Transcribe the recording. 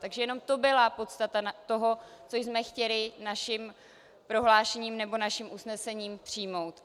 Takže jenom to byla podstata toho, co jsme chtěli naším prohlášením nebo naším usnesením přijmout.